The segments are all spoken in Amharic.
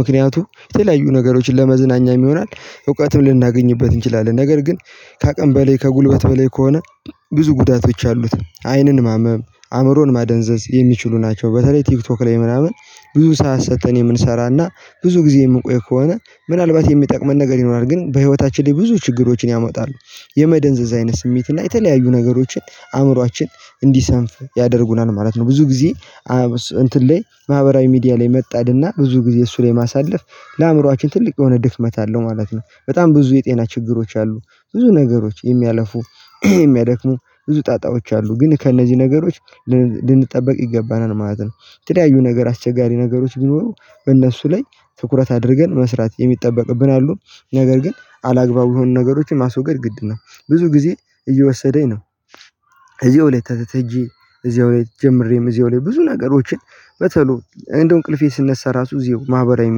ምክንያቱም የተለያዩ ነገሮችን ለመዝናኛም ይሆናል እውቀትም ልናገኝበት እንችላለን። ነገር ግን ከአቅም በላይ ከጉልበት በላይ ከሆነ ብዙ ጉዳቶች አሉት። አይንን ማመም አእምሮን ማደንዘዝ የሚችሉ ናቸው በተለይ ቲክቶክ ላይ ምናምን። ብዙ ሰዓት ሰጥተን የምንሰራና ብዙ ጊዜ የምንቆይ ከሆነ ምናልባት የሚጠቅመን ነገር ይኖራል ግን በህይወታችን ላይ ብዙ ችግሮችን ያመጣሉ። የመደንዘዝ አይነት ስሜት እና የተለያዩ ነገሮችን አእምሮአችን እንዲሰንፍ ያደርጉናል ማለት ነው። ብዙ ጊዜ እንትን ላይ ማህበራዊ ሚዲያ ላይ መጣድና ብዙ ጊዜ እሱ ላይ ማሳለፍ ለአእምሮአችን ትልቅ የሆነ ድክመት አለው ማለት ነው። በጣም ብዙ የጤና ችግሮች አሉ ብዙ ነገሮች የሚያለፉ የሚያደክሙ ብዙ ጣጣዎች አሉ ግን ከእነዚህ ነገሮች ልንጠብቅ ይገባናል ማለት ነው። የተለያዩ ነገር አስቸጋሪ ነገሮች ቢኖሩ እነሱ ላይ ትኩረት አድርገን መስራት የሚጠበቅብን አሉ ነገር ግን አላግባብ የሆኑ ነገሮችን ማስወገድ ግድ ነው። ብዙ ጊዜ እየወሰደኝ ነው። እየወለ እዚያው ላይ ጀምሬም እዚያው ላይ ብዙ ነገሮችን በቶሎ እንደው እንቅልፌ ስነሳ ራሱ እዚሁ ማህበራዊ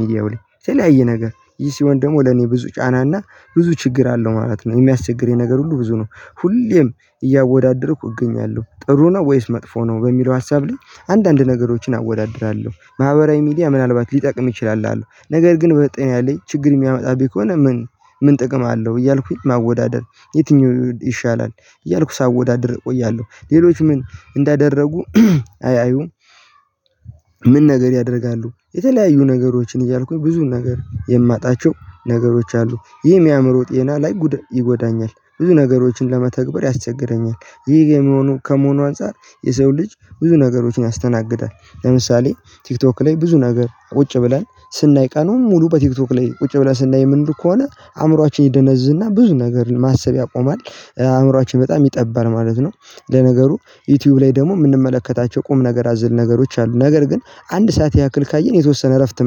ሚዲያው ላይ ተለያየ ነገር ይሄ ሲሆን ደግሞ ለኔ ብዙ ጫና እና ብዙ ችግር አለው ማለት ነው። የሚያስቸግር የነገር ሁሉ ብዙ ነው። ሁሌም እያወዳደርኩ እገኛለሁ ጥሩ ነው ወይስ መጥፎ ነው በሚለው ሀሳብ ላይ። አንዳንድ ነገሮችን አወዳድራለሁ ማህበራዊ ሚዲያ ምናልባት ሊጠቅም ይችላል። አሉ ነገር ግን በጤናየ ላይ ችግር የሚያመጣብኝ ከሆነ ምን ምን ጥቅም አለው? እያልኩኝ ማወዳደር የትኛው ይሻላል እያልኩ ሳወዳድር እቆያለሁ። ሌሎች ምን እንዳደረጉ አያዩም። ምን ነገር ያደርጋሉ የተለያዩ ነገሮችን እያልኩኝ ብዙን ነገር የማጣቸው ነገሮች አሉ። ይሄ የሚያምር ጤና ላይ ጉዳይ ይጎዳኛል ብዙ ነገሮችን ለመተግበር ያስቸግረኛል። ይህ ከመሆኑ ከመሆኑ አንፃር የሰው ልጅ ብዙ ነገሮችን ያስተናግዳል። ለምሳሌ ቲክቶክ ላይ ብዙ ነገር ቁጭ ብለን ስናይ ቀኑን ሙሉ በቲክቶክ ላይ ቁጭ ብለህ ስናይ ምንድነው ከሆነ? አእምሮአችን ይደነዝዝና ብዙ ነገር ማሰብ ያቆማል። አእምሮአችን በጣም ይጠባል ማለት ነው። ለነገሩ ዩቲዩብ ላይ ደግሞ የምንመለከታቸው ቁም ነገር አዝል ነገሮች አሉ ነገር ግን አንድ ሰዓት ያክል ካየን የተወሰነ እረፍት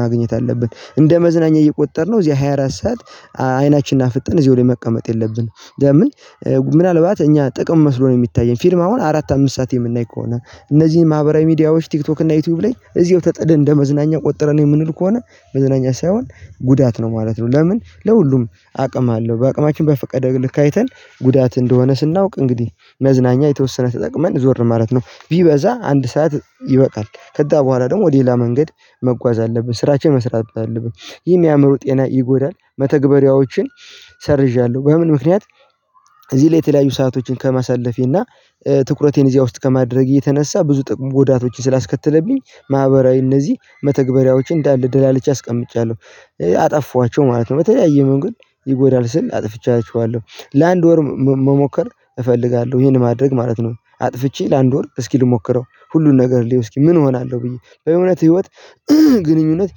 ማግኘት አለብን። እንደ መዝናኛ እየተጠቀምነ እዚህ ሃያ አራት ሰዓት አይናችንን አፍጥን እዚህ ወይ መቀመጥ የለብንም። ምን? ምናልባት እኛ ጥቅም መስሎ ነው የሚታየን ፊልም አሁን አራት አምስት ሰዓት የምናይ ከሆነ እነዚህን ማህበራዊ ሚዲያዎች ቲክቶክ እና ዩቲዩብ ላይ እዚሁ ተጠድ እንደመዝናኛ ቆጠረ ነው የምንል ከሆነ መዝናኛ ሳይሆን ጉዳት ነው ማለት ነው። ለምን ለሁሉም አቅም አለው። በአቅማችን በፈቀደልን ልካይተን ጉዳት እንደሆነ ስናውቅ እንግዲህ መዝናኛ የተወሰነ ተጠቅመን ዞር ነው ማለት ነው። ቢበዛ አንድ ሰዓት ይበቃል ከዛ በኋላ ደግሞ ሌላ መንገድ መጓዝ አለብን ስራችው መስራት አለብን። ይህን የአእምሮ ጤና ይጎዳል መተግበሪያዎችን። ሰርዣለሁ በምን ምክንያት እዚህ ላይ የተለያዩ ሰአቶችን ከመሰለፌ እና ትኩረቴን እዚያ ውስጥ ከማድረግ እየተነሳ ብዙ ጥቅም ጎዳቶችን ስላስከተለብኝ። ማህበራዊ እነዚህ መተግበሪያዎች እንዳለ ድል አለች አስቀምጫለሁ አጠፋችሁ ማለት ነው። በተለያየ መንገድ ይጎዳል ስል አጥፍቻችኋለሁ ለአንድ ወር መሞከር እፈልጋለሁ። ይሄን ማድረግ ማለት ነው። አጥፍቼ ለአንድ ወር እስኪ ልሞክረው ሁሉን ነገር ልየው እስኪ ምን እሆናለሁ ብዬ በእውነት ህይወት። ግንኙነት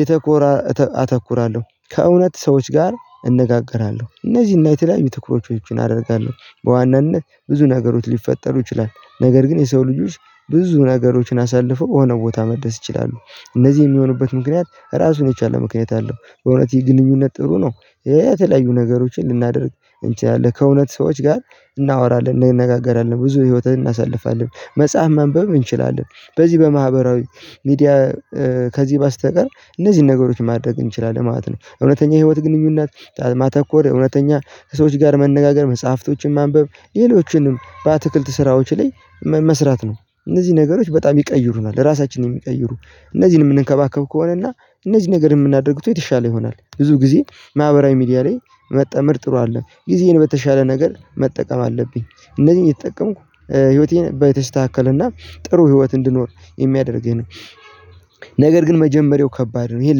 የተኮራ አተኩራለሁ ከእውነት ሰዎች ጋር እነጋገራለሁ። እነዚህን የተለያዩ ትኩሮቾችን አደርጋለሁ በዋናነት ብዙ ነገሮች ሊፈጠሩ ይችላል ነገር ግን የሰው ልጆች ብዙ ነገሮችን አሳልፎ ሆነው ቦታ መደሰት ይችላሉ። እነዚህ የሚሆንበት ምክንያት ራሱን የቻለ ምክንያት አለው በእውነት ይህ ግንኙነት ጥሩ ነው። የተለያዩ ነገሮችን ልናደርግ እንችላለን ከእውነት ሰዎች ጋር እናወራለን እንነጋገራለን ብዙ ህይወትን እናሳልፋለን መጽሐፍ መንበብ እንችላለን። በዚህ በማህበራዊ ሚዲያ ከዚህ በስተቀር እነዚህን ነገሮች ማድረግ እንችላለን ማለት ነው። እውነተኛ የህይወት ግንኙነት ማተኮር እውነተኛ ሰዎች ጋር መነጋገር መጽሐፍቶችን ማንበብ ሌሎችንም በአትክልት ስራዎች ላይ መስራት ነው። እነዚህ ነገሮች በጣም ይቀይሩናል ለራሳችን ነው የሚቀይሩ። እነዚህንም እንከባከብ ከሆነና እነዚህ ነገር የምናደርግበት የተሻለ ይሆናል። ብዙ ጊዜ ማህበራዊ ሚዲያ ላይ መጠመር ጥሩ አድለም ጊዜን በተሻለ ነገር መጠቀም አለብኝ። እነዚህን የተጠቀምኩ ህይወቴን በተስተካከለና ጥሩ ህይወት እንድኖር የሚያደርገኝ ነገር ግን መጀመሪያው ከባድ ነው። ይሄን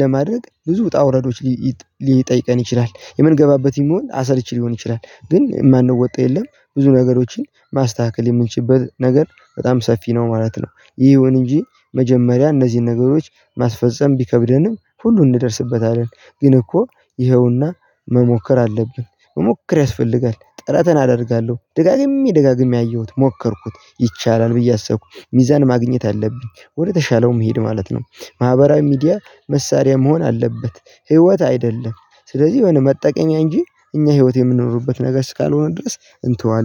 ለማድረግ ብዙ ውጣ ውረዶች ሊጠይቀን ይችላል የምንገባበት ይሆን አሰርች ሊሆን ይችላል። ግን የማንወጣ የለም ብዙ ነገሮችን ማስተካከል የምንችልበት ነገር በጣም ሰፊ ነው ማለት ነው። ይሄውን እንጂ መጀመሪያ እነዚህን ነገሮች ማስፈጸም ቢከብደንም ሁሉ እንደደርስበት አለን። ግን እኮ ይኸውና መሞከር አለብን መሞከር ያስፈልጋል። ጥረትን አደርጋለሁ ደጋግሜ ደጋግሜ አየሁት ሞከርኩት ይቻላል ብዬ አሰብኩኝ ሚዛን ማግኘት አለብኝ ወደተሻለውም መሄድ ማለት ነው። ማህበራዊ ሚዲያ መሳሪያ መሆን አለበት። ህይወት አይደለም። ስለዚህ የሆነ መጠቀሚያ እንጂ እኛ ህይወት የምንኖርበት ነገር እስካልሆነ ድረስ እንተዋለን